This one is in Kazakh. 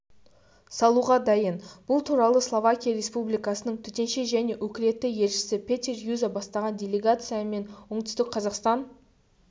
салуға дайын бұл туралысловакия республикасының төтенше және өкілетті елшісі петер юза бастаған делегация меноңтүстік қазақстан